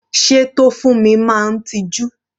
Sé Tofunmi máa ń tiju?